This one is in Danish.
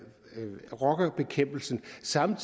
sammen